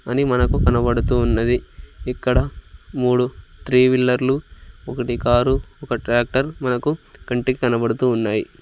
అని మనకు కనబడుతూ ఉన్నది ఇక్కడ మూడు త్రీ వీలర్లు ఒకటి కారు ఒక ట్రాక్టర్ మనకు కంటికి కనబడుతూ ఉన్నాయి.